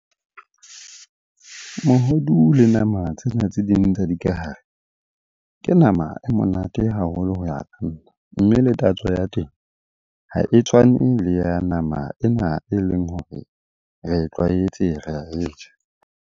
Mohodu le nama tsena tse ding tsa dikahare. Ke nama e monate haholo ho ya ka nna, mme le tatso ya teng ha e tshwane le ya nama ena e leng hore re e tlwaetse, ra e ja.